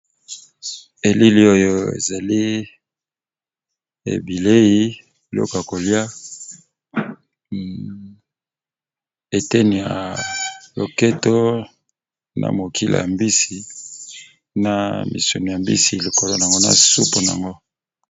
Elili oyo ezali ebilei biloko ya kolia eteni ya loketo na mokila ya mbisi na misuni ya mbisi likolo na ngo na supu nango.